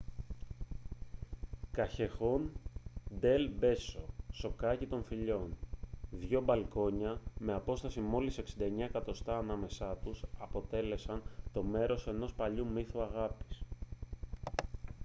καγιεχόν ντελ μπέσο σοκάκι των φιλιών. δύο μπαλκόνια με απόσταση μόλις 69 εκατοστά ανάμεσά τους αποτέλεσαν το μέρος ενός παλιού μύθου αγάπης